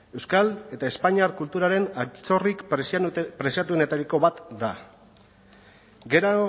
euskal eta espainiar kulturaren altxorrik preziatuenetariko bat da gero